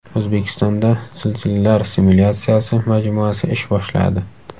O‘zbekistonda zilzilalar simulyatsiyasi majmuasi ish boshladi.